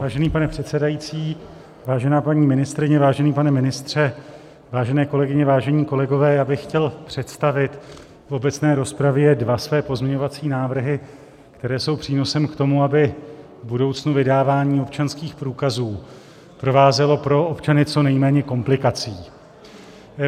Vážený pane předsedající, vážená paní ministryně, vážený pane ministře, vážené kolegyně, vážení kolegové, já bych chtěl představit v obecné rozpravě dva své pozměňovací návrhy, které jsou přínosem k tomu, aby v budoucnu vydávání občanských průkazů provázelo pro občany co nejméně komplikací.